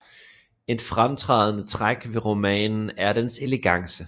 Et fremtrædende træk ved romanen er dens elegance